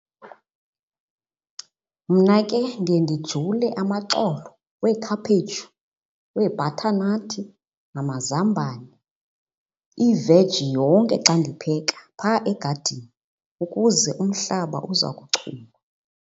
Mna ke ndiye ndijule amaxolo weekhaphetshu, weebhathanathi namazambane, iveji yonke xa ndipheka phaa egadini ukuze umhlaba uza kuchuma.